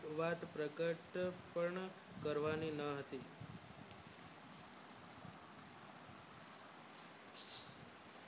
ખુબજ પ્રગટ પણ કરવાની ના હતી